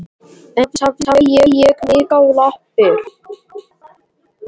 En loksins hafði ég mig á lappir.